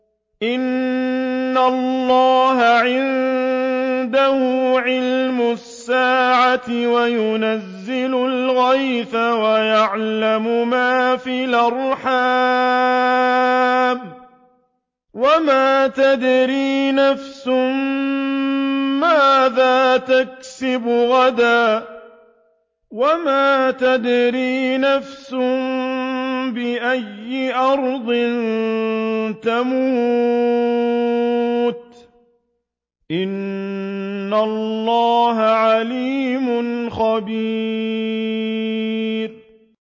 إِنَّ اللَّهَ عِندَهُ عِلْمُ السَّاعَةِ وَيُنَزِّلُ الْغَيْثَ وَيَعْلَمُ مَا فِي الْأَرْحَامِ ۖ وَمَا تَدْرِي نَفْسٌ مَّاذَا تَكْسِبُ غَدًا ۖ وَمَا تَدْرِي نَفْسٌ بِأَيِّ أَرْضٍ تَمُوتُ ۚ إِنَّ اللَّهَ عَلِيمٌ خَبِيرٌ